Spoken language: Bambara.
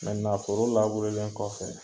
foro laburelen kɔfɛ